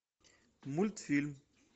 мультфильм